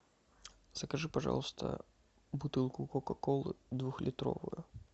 закажи пожалуйста бутылку кока колы двухлитровую